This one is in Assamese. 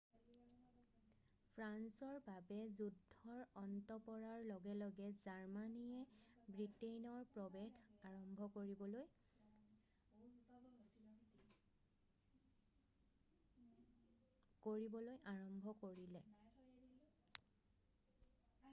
ফ্ৰান্সৰ বাবে যুদ্ধৰ অন্ত পৰাৰ লগে লগে জাৰ্মানীয়ে ব্ৰিটেইনৰ প্ৰৱেশ কৰিবলৈ আৰম্ভ কৰিলে